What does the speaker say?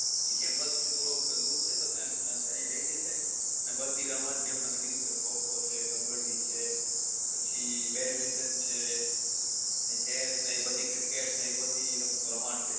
campus થી થોડોક દૂર છે તો તય એ લઇ જશે ને બધી રમત જેમ કે તમે કીધું કે ખો ખો છે કબ્બડી છે પછી badminton છે chess ને એ બધી cricket ને એ બધી રમતો રમાડશે